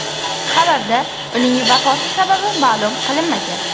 Xabarda uning vafoti sababi ma’lum qilinmagan.